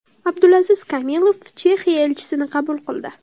Abdulaziz Kamilov Chexiya elchisini qabul qildi.